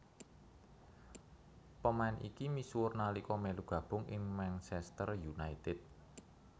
Pemain iki misuwur nalika melu gabung ing Manchester United